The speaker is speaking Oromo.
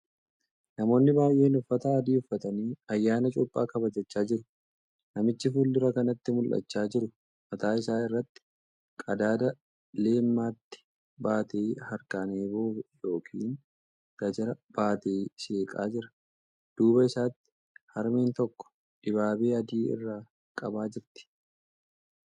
Namoonni baay'een uffata adii uffatanii ayyaana cuuphaa kabajachaa jiru. Namichi fuuldura kanatti mul'achaa jiru mataa isaa irratti qadaada leemmatii baatee harkaan eeboo yookiin gajaraa baatee seeqaa jira. Duuba isaatti harmeen tokko dibaabee adii irra qabaa jirti.